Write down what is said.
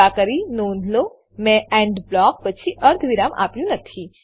કૃપા કરી નોંધ લો મેં એન્ડ બ્લોક પછી અર્ધવિરામ આપ્યું નથી